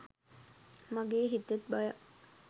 මගෙ හිතෙත් බයක්